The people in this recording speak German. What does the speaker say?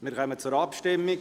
Wir kommen zur Abstimmung.